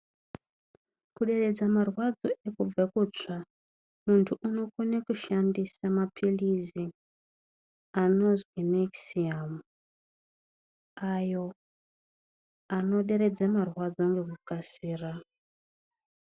Kuderedza marwadzo ederedza kutsva mundu anokona kushandisa maphilizi anonzi Nekisiyamu ayo anoderedza marwadzo nekukasira.